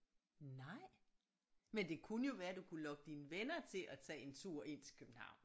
Nej men det kunne jo være du kunne lokke dine venner til at tage en tur ind til København